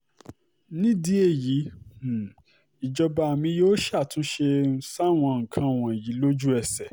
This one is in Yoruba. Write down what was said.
nídìí èyí um ìjọba mi yóò ṣàtúnṣe um sáwọn nǹkan wọ̀nyí lójú-ẹsẹ̀